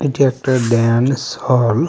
এটি একটা ড্যান্স হল .